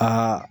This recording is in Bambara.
Ka